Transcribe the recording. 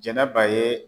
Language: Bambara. Jɛnɛba ye